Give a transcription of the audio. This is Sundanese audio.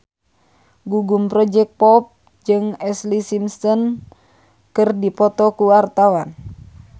Gugum Project Pop jeung Ashlee Simpson keur dipoto ku wartawan